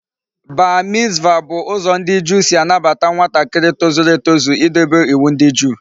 Bar mitzvah bu uzo ndi Juu si anabata nwatakiri tozuru etozu I dobe iwu ndi juu